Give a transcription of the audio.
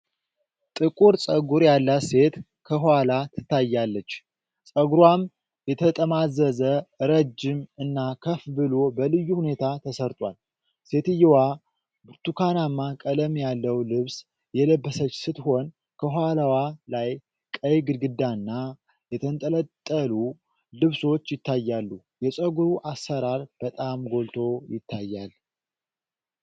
ጥቁር ፀጉር ያላት ሴት ከኋላ ትታያለች፤ ፀጉሯም የተጠማዘዘ፣ ረጅም እና ከፍ ብሎ በልዩ ሁኔታ ተሠርቷል። ሴትየዋ ብርቱካናማ ቀለም ያለው ልብስ የለበሰች ስትሆን፤ ከኋላዋ ላይ ቀይ ግድግዳና የተንጠለጠሉ ልብሶች ይታያሉ። የፀጉሩ አሠራር በጣም ጎልቶ ይታያል።